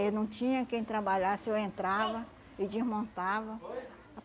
Eu não tinha quem trabalhasse, eu entrava e desmontava.